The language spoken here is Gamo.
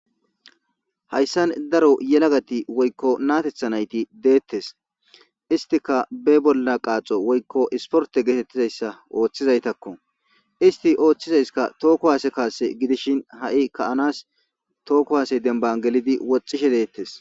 Hayssan daro yelagati woykko naatethanayti deettes istika be bolla qaaxo woykko isporte geetettizayssa ooththizaytakko isti ooththizayska tookko haase kaase gidishin ha7i ka7anas tookko haase demban gelidi wocishe deettes